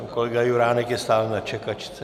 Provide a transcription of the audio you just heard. Pan kolega Juránek je stále na čekačce.